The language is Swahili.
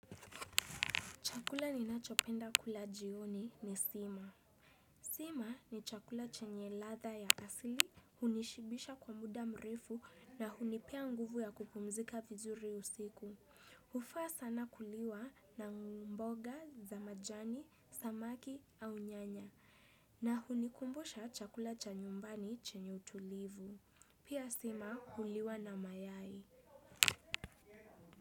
Chakula ninachopenda kula jioni ni sima. Sima ni chakula chenye ladha ya asili, hunishibisha kwa muda mrefu na hunipea nguvu ya kupumzika vizuri usiku. Hufaa sana kuliwa na mboga, za majani, samaki au nyanya. Na hunikumbusha chakula cha nyumbani chenye utulivu. Pia sima huliwa na mayai.